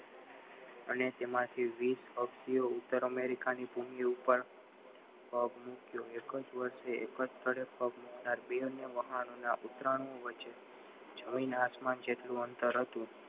અને તેમાંથી વીસ હસબી ઉત્તર અમેરિકા ઉપર પગ મુક્યો એક જ વર્ષે એક જ સ્થળે વહાણો ના ઉતરાણઓ જમીન આસમાન જેટલું અંતર હતું